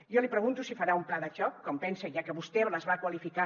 jo li pregunto si farà un pla de xoc com pensa ja que vostè les va qualificar